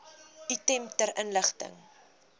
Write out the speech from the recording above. item ter inligting